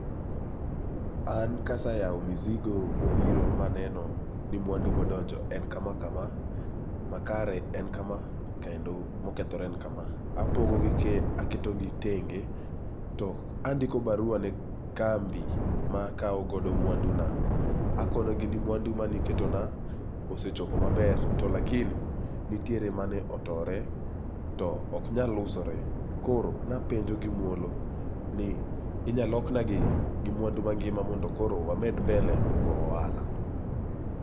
An kasayawo mizigo mobiro maneno ni mwandu modonjo en kama kama, makare en kama, kendo mokethore en kama. Aketogi tenge to andiko barua ne kambi makawo godo mwanduna, akonogi ni mwandu maniketona osechopo maber to lakini nitiere mane otore to oknyal usore, koro napenjo gi muolo ni inya loknagi gi mwandu mangima mondo koro amed mbele go ohala.